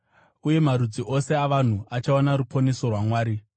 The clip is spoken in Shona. Uye marudzi ose avanhu achaona ruponeso rwaMwari.’ ”